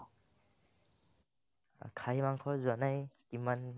খাহী মাংস যোৱানাই কিমান